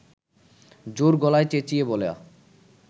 জোর গলায় চেঁচিয়ে বলা